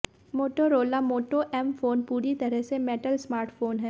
Motorola Moto M phone पूरी तरह से मेटल स्मार्टफोन है